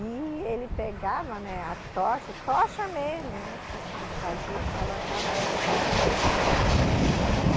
E ele pegava, né, a tocha, tocha mesmo, né, que eles fazia e colocava aí a pólvora, subia, sabe?